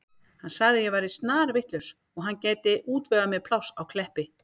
Hann sagði að ég væri snarvitlaus og hann gæti útvegað mér pláss á Kleppi.